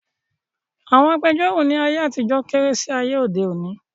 Àwọn agbẹjọ́rọ̀ ní ayé àtijọ́ kéré sí ayé òde òni